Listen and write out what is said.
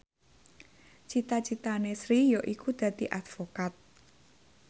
cita citane Sri yaiku dadi advokat